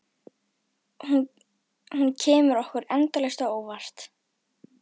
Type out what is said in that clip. Og hún kemur okkur endalaust á óvart.